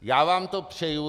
Já vám to přeji.